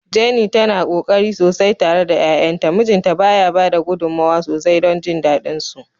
Jenny tana ƙoƙari sosai tare da 'ya'yanta, mijinta ba ya bada gudummawa sosai don jin dadin su.